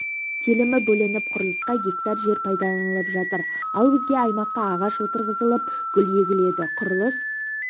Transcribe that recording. телімі бөлініп құрылысқа гектар жер пайдаланылып жатыр ал өзге аймаққа ағаш отырғызылып гүл егіледі құрылыс